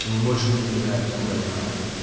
он больше не изменяет насколько я знаю